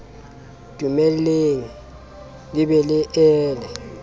dumelle le be le ele